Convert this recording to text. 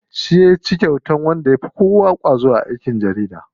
Shi yaci kyautar wanda yafi kowa ƙwazo a aikin jarida.